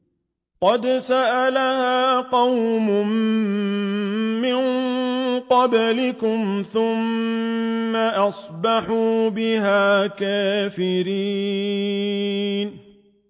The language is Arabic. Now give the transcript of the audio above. قَدْ سَأَلَهَا قَوْمٌ مِّن قَبْلِكُمْ ثُمَّ أَصْبَحُوا بِهَا كَافِرِينَ